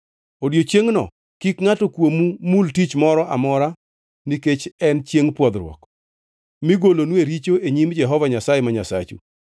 Odiechiengʼno kik ngʼato kuomu mul tich moro amora nikech en Chiengʼ Pwodhruok, migolonue richo e nyim Jehova Nyasaye ma Nyasachu.